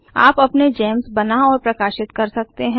आप अपने जीईएमएस बना और प्रकाशित कर सकते है